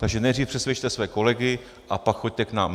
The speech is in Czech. Takže nejdřív přesvědčte své kolegy, a pak choďte k nám.